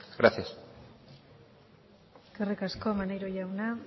gracias eskerrik asko maneiro jauna